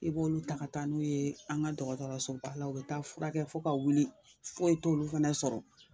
I b'olu ta taa ka taa n'o ye an ka dɔgɔtɔrɔsoba la la u be taa furakɛ fo ka wuli foyi t'olu fɛnɛ sɔrɔ